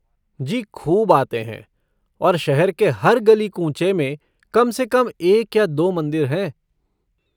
जी खूब आते हैं और शहर के हर गली कूँचे में कम से कम एक या दो मंदिर हैं।